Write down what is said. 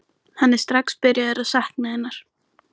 Hann er strax byrjaður að sakna hennar.